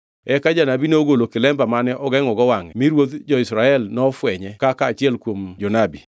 Eka janabi nogolo kilemba mane ogengʼogo wangʼe mi ruodh jo-Israel nofwenye kaka achiel kuom jonabi.